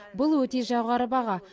бұл өте жоғары баға